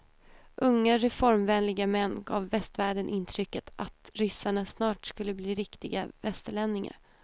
Unga reformvänliga män gav västvärlden intrycket att ryssarna snart skulle bli riktiga västerlänningar.